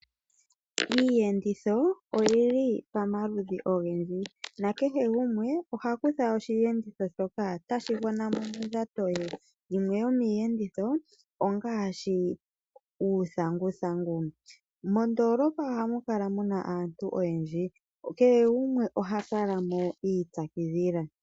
Iiyenditho oyi li pamaludhi ogendji nakehe gumwe oha kutha osheenditho shoka tashi gwana mo mondjato ye. Yimwe yomiiyenditho ongaashi uuthanguthangu. Mondoolopa ohamu kala mu na aantu oyendji. Kehe gumwe oha kala mo i ipyakidhila.